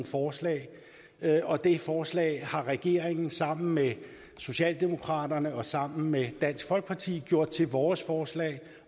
forslag og det forslag har regeringen sammen med socialdemokraterne og sammen med dansk folkeparti gjort til vores forslag